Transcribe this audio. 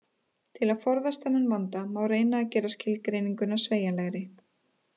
Til að forðast þennan vanda má reyna að gera skilgreininguna sveigjanlegri.